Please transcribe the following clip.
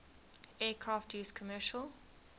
aircraft used commercial